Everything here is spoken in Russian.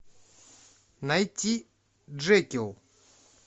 найти джекил